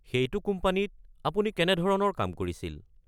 সেইটো কোম্পানীত আপুনি কেনেধৰণৰ কাম কৰিছিল?